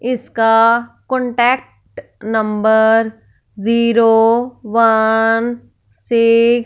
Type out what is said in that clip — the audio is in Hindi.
इसका contact number zero one six --